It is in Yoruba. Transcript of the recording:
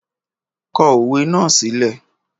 Kọ òwe náà sílẹ́!